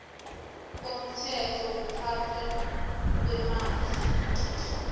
komthetho wokuphathwa kweemali